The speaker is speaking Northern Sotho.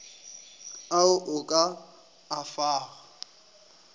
ao o ka a fago